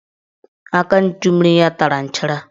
Aka nchummiri ya tara nchara